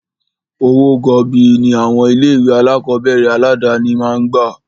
Owó gọbọi ní àwọn ilé ìwé alákọ̀berẹ̀ aládàni máà ń gbà.